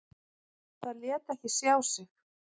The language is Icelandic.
Það lét ekki sjá sig.